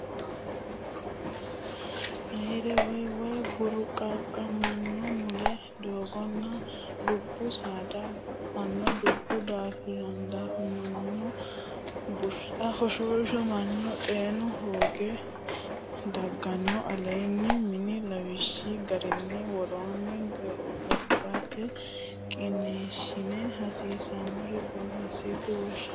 Ayyare woy way burquuqamanno Molle dagganno Dubbu saada ba anno Dubbu daafamanni Bushshu hoshooshamanno Xeenu hoonge dagganno Aleenni la inni lawishshi garinni woroonni giraafete qiniishshi hasiisannore borreessitine wonshe.